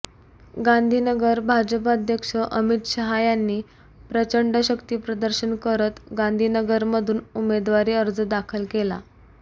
गांधीनगर भाजप अध्यक्ष अमित शहा यांनी प्रचंड शक्तीप्रदर्शन करत गांधीनगरमधून उमेदवारी अर्ज दाखल केला